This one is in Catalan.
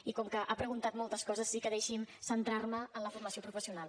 i com que ha preguntat moltes coses sí que deixi’m centrar me en la formació professional